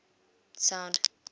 sound